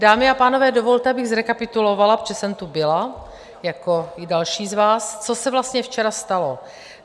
Dámy a pánové, dovolte, abych zrekapitulovala, protože jsem tu byla jako i další z vás, co se vlastně včera stalo.